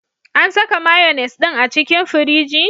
An saka mayones din a cikin firiji?